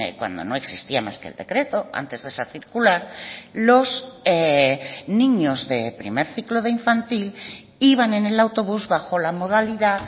cuando no existía más que el decreto antes de esa circular los niños de primer ciclo de infantil iban en el autobús bajo la modalidad